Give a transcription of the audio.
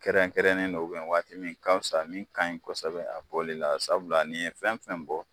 Kɛrɛnkɛrɛnnen don ubiyɛn waati min ka fisa min kaɲi kosɛbɛ a bi bɔ ode la sabula ni ye fɛn fɛn bɔ